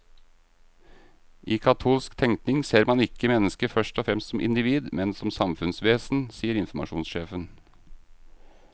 I katolsk tenkning ser man ikke mennesket først og fremst som individ, men som samfunnsvesen, sier informasjonssjefen.